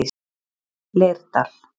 Leirdal